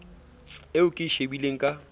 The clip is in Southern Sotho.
eo ke e shebileng ka